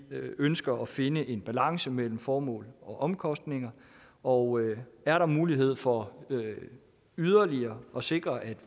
ønsker at finde en balance mellem formål og omkostninger og er der mulighed for yderligere at sikre at